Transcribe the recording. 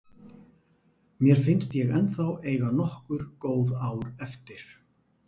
Mér finnst ég ennþá eiga nokkur góð ár eftir.